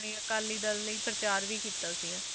ਆਪਣੇ ਅਕਾਲੀ ਦਲ ਲਈ ਪ੍ਰਚਾਰ ਵੀ ਕੀਤਾ ਸੀਗਾ,